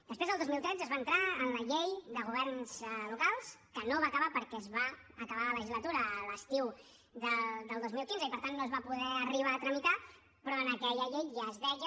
després el dos mil tretze es va entrar en la llei de governs locals que no es va acabar perquè es va acabar la legislatura l’estiu del dos mil quinze i per tant no es va poder arribar a tramitar però en aquella llei ja es deia